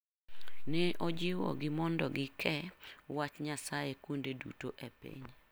Ne ojiwo gi mondo gi ke wach Nyasaye kuonde duto e piny.